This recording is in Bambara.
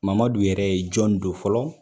Mamadu yɛrɛ ye jɔni don fɔlɔ